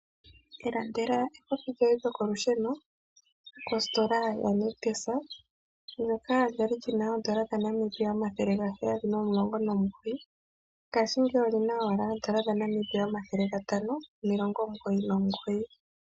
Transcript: Ilandela ekopi lyoye lyokolusheno kositola ya Nictus, ndoka lyali li na oodola dhaNamibia omathele gaheyali momulongo momugoyi ngaashingeyi oli na owala oodola dhaNamibia omathele gatano nomilongo omugoyi nomugoyi.